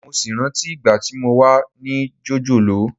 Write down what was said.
Mo sì rántí ìgbà tí mo wà ní jòjòló